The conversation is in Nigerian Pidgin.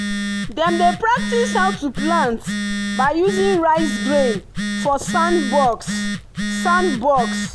dem dey practise how to plant by using rice grain for sandbox. sandbox.